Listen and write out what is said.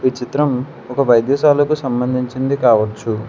చిత్రం ఒక వైద్యశాలకు సంబంధించింది కావచ్చు.